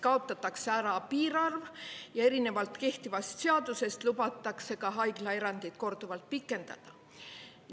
Kaotatakse ära piirarv ja erinevalt kehtivast seadusest lubatakse haiglaerandit korduvalt pikendada.